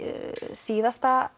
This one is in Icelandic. síðasta